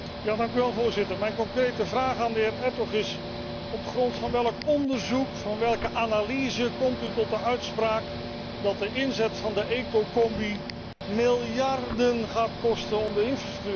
Mijn concrete vraag aan de heer Ertug is op grond van welk onderzoek, van welke analyse komt u tot de uitspraak dat de inzet van de ecocombi miljarden gaat kosten om de infrastructuur aan te passen?